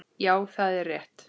Já, það er rétt.